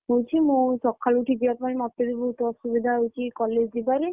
ହଉଛି ମୁଁ ସକାଳୁ ଉଠି ଯିବା କଥା ମତେ ବି ବହୁତ ଅସୁବିଧା ହଉଛି college ଯିବାରେ।